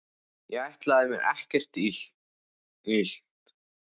Ég ætlaði mér ekki að gera þér neitt illt.